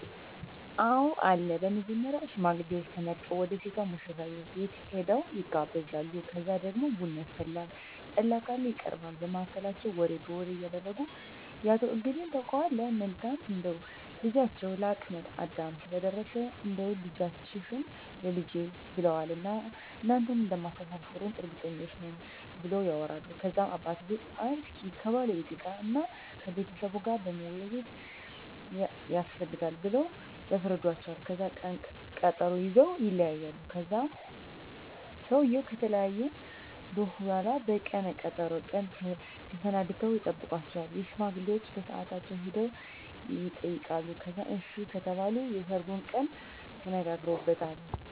አወ አለ በመጀመሪያ ሽማግሌዎች ተመርጠው ወደ ሴቷ ሙሽራቤት ሄደው ይጋባሉ ከዛ ደግሞ ቡና ይፈላል ጠላ ካለ ይቀርባል በመሀከላቸው ወሬ በወሬ እያረጉ የአቶ እገሌን ታውቀዋለህ መልካም እንደው ልጃቸው ለአቅመ አዳም ስለደረሰ እንዳው ልጃችህን ላልጄ ብለውዋን እና እናንተም እንደማታሰፍሩን እርግጠኞች ነን ብለው ያወራሉ ከዛም አባትየው አይ እስኪ ከባለቤቴ ጋር እና ከቤተሰቡ ጋር መወያያት የስፈልጋል ብለው ያስረዱዎቸዋል ከዛን ቀነ ቀጠሮ ይዘወ ይለያያሉ ከዛን ሰውየው ከተወያየ በሁላ በቀነ ቀጠሮው ቀን ተሰናድተው ይጠብቃቸዋል ሽማግሌዎቸ በሳአታቸው ሄደው የጠይቃሉ ከዛን አሺ ከተባሉ የሰርጉን ቀን ተነጋግረውበታል